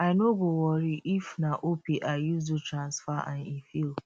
i no go worry if na opay i use do transfer and e fail